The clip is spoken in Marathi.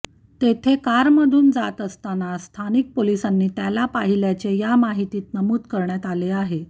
तेथे कारमधून जात असताना स्थानिक पोलिसांनी त्याला पाहिल्याचे या माहितीत नमूद करण्यात आले आहे